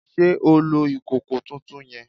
Sé o lo ìkòkò tuntun yen?